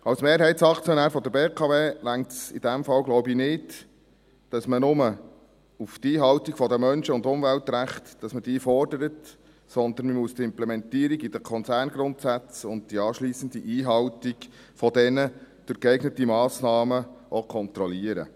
Als Mehrheitsaktionär der BKW genügt es in diesem Fall, so glaube ich, nicht, dass man nur die Einhaltung der Menschen- und Umweltrechte fordert, sondern man muss die Implementierung in den Konzerngrundsätzen und die anschliessende Einhaltung dieser durch geeignete Massnahmen auch kontrollieren.